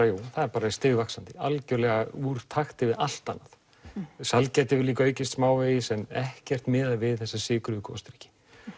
já það er bara stigvaxandi algjörlega úr takti við allt annað sælgæti hefur líka aukist smávegis en ekkert miðað við þessa sykruðu gosdrykki